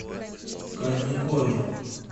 кадникове